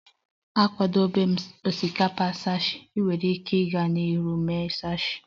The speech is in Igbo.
Akwadebewo m osikapa sushi, ị nwere ike ịga n'ihu ma mee sushi